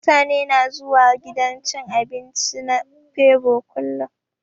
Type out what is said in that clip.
Mutane suna zuwa gidan cin abinci na febo kullun.